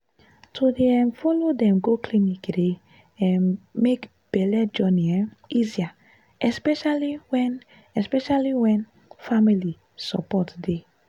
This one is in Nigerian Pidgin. to dey um follow dem go clinic dey um make belle journey um easier especially when especially when family support dey.